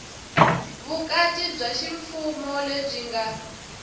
vukati bya ximfumo lebyi nga